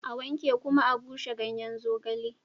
A wanke kuma a bushe ganyen zogale